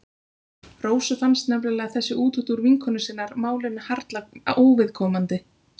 Rósu fannst nefnilega þessi útúrdúr vinkonu sinnar málinu harla óviðkomandi.